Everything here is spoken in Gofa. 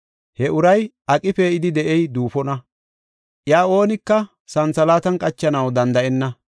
He uray aqi pee7idi de7ey duufona. Iya oonika santhalaatan qachanaw danda7enna.